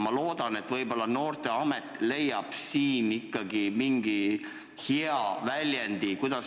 Ma loodan, et noorteamet leiab siin mingi hea lahenduse.